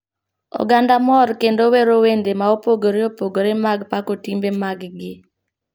Oganda mor kendo wero wende ma opogore opogore mag pako timbe mag gi.